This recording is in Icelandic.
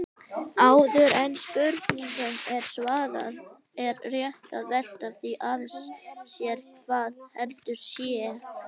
Áður en spurningunni er svarað er rétt að velta því aðeins sér hvað eldur sé.